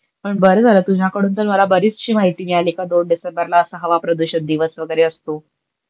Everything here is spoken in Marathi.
पण बर झाल तुझ्याकडून तर मला बरीचशी माहिती मिळाली का दोन डिसेंबरला अस हवा प्रदूषण दिवस वगेरे असतो.